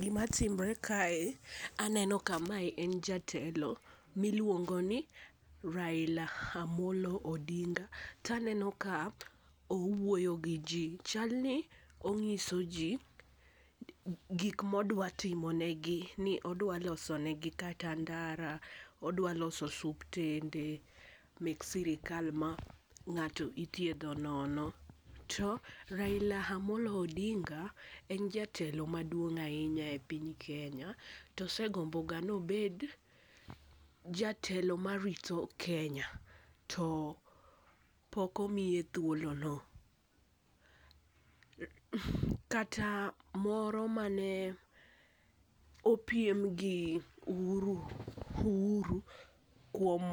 Gi ma timre kae aneno ka mae en jatelo mi iluongo ni Raila Amollo Odinga. To aneno ka owuoyo gi ji chalni ong'iso ji gik ma odwa timo negi ni odwa loso negi kata ndara, odwa loso osiptende mag sirkal ma ng'ato ithiedho nono. To Raila Amollo Odinga en jatelo ma duong ainya e piny Kenya. To osegombo ga ni obed jatelo ma rito Kenya ,to pok omiye thuolo no. Kata moro mane opiem gi Uhuru, uhuru kuom